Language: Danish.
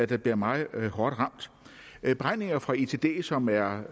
der bliver meget hårdt ramt beregninger fra itd som er